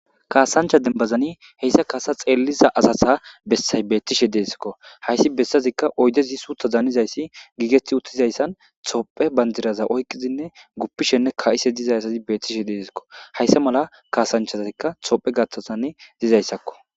kaasancha denbazani heyssa kasa xeelliza asasa bessay beettishe deesikko hayssi bessazikka oydezi suutha zaanizayssi giigeti uttizayssan tophe banjiraza oyqizinne guppishenne ka7ise dizay asazi beettishe deesikko hayssa mala kaasanchazikka tophe gaththasane dizayssakko